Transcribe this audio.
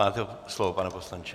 Máte slovo, pane poslanče.